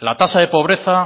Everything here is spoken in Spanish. la tasa de pobreza